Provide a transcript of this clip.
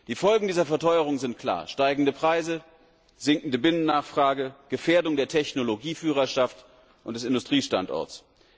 Die Folgen dieser Verteuerung sind klar steigende Preise, sinkende Binnennachfrage, Gefährdung der Technologieführerschaft und des Industriestandorts.